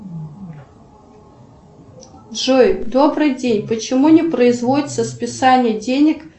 джой добрый день почему не производится списание денег